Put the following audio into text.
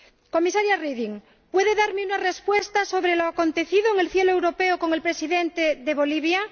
Comisaria Reding, ¿puede darme una respuesta sobre lo acontecido en el cielo europeo con el Presidente de Bolivia?